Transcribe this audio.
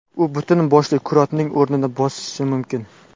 U butun boshli kurortning o‘rnini bosishi mumkin.